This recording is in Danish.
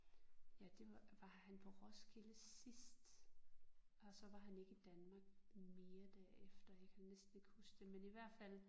Ja det var han på Roskilde sidst og så var han ikke i Danmark mere derefter jeg kan næsten ikke huske det men i hvert fald